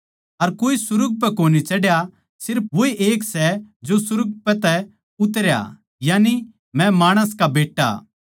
अर कोए सुर्ग पै कोनी चढ़ा सिर्फ वोए एक सै जो सुर्ग तै उतरा यानिके मै माणस का बेट्टा